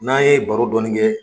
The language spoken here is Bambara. N'an ye baro dɔɔnin kɛ